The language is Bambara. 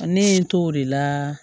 Ne ye n t'o de la